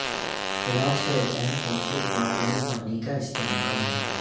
علاج کا ایک اہم عنصر معدنی پانی کا استعمال ہے